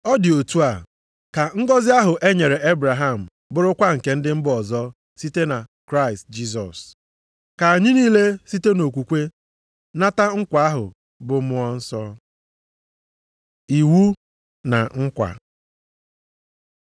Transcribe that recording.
Ọ dị otu a ka ngọzị ahụ e nyere Ebraham bụrụkwa nke ndị mba ọzọ site na Kraịst Jisọs. Ka anyị niile site nʼokwukwe nata nkwa ahụ, bụ Mmụọ Nsọ. Iwu na Nkwa